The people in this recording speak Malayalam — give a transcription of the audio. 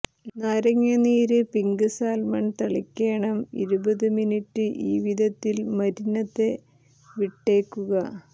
നാരങ്ങ നീര് പിങ്ക് സാൽമൺ തളിക്കേണം ഇരുപതു മിനിറ്റ് ഈ വിധത്തിൽ മരിനതെ വിട്ടേക്കുക